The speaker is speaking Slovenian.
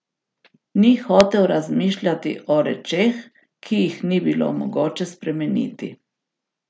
Ni hotel razmišljati o rečeh, ki jih ni bilo mogoče spremeniti.